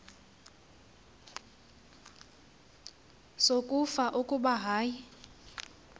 sokufa kuba ayi